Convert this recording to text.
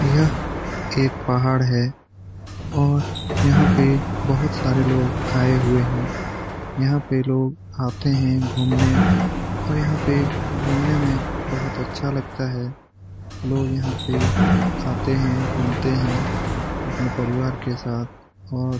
यह एक पहाड़ है और यहाँ पे बहुत सारे लोग आए हुए हैं यहाँ पे लोग आते हैं । घूमने और यहाँ पे घूमने में बहुत अच्छा लगता है । लोग यहाँ पे आते हैं घूमते हैं । अपने परिवार के साथ और --